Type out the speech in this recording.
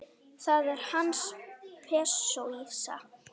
Það er hans póesía.